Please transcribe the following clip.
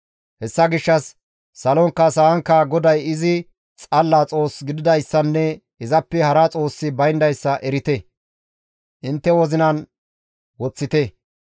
«Hessa gishshas salonkka sa7ankka GODAY izi xalla Xoos gididayssanne izappe hara Xoossi bayndayssa erite; intte wozinan woththite.